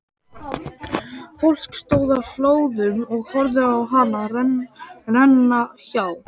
Fólk stóð á hlöðum og horfði á hana renna hjá.